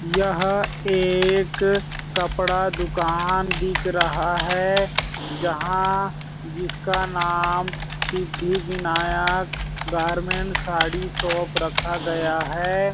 यह एक कपड़ा दुकान दिख रहा है जहाँ जिसका नाम सिद्धि-विनायक गारमेंटस साड़ी शॉप रखा गया हैं।